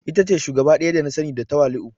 Ita ce shugaba daya da na sani da tawali'u.